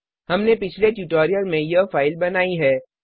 हमने पिछले ट्यूटोरियल में यह फाइल बनाई है